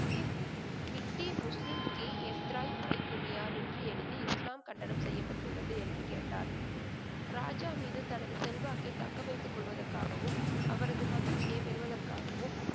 மிட்டி முஸ்லீம் கீ எம்திராய் பைக்குமியார் என்று எழுதி இஸ்லாம் கண்டனம் செய்யப்பட்டுள்ளது என்று கேட்டார். ராஜா மீது தனது செல்வாக்கை தக்கவைத்துக் கொள்வதற்காகவும், அவரது மகிழ்ச்சியைப் பெறுவதற்காகவும்,